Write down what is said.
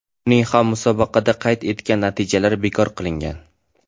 Uning ham musobaqada qayd etgan natijalari bekor qilingan.